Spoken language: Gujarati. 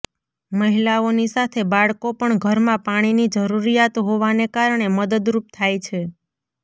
મહિલાઓની સાથે બાળકો પણ ઘરમાં પાણીની જરૃરીયાત હોવાને કારણે મદદરૃપ થાય છે